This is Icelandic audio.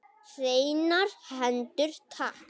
Hreinar hendur takk!